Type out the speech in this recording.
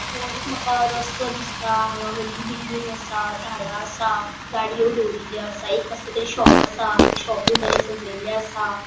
हो एक मका रस्तो दिसता हान्गा होडली बिल्डिंग आसा झाडा असा गाड़ियों दोरिल्ले आसा एक कसले तरी शॉप आसा ते शॉपू बरे सजेले आसा.